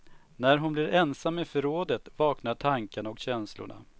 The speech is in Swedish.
När hon blir ensam i förrådet vaknar tankarna och känslorna.